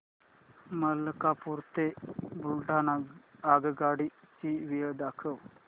मलकापूर ते बुलढाणा आगगाडी ची वेळ दाखव